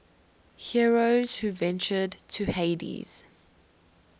heroes who ventured to hades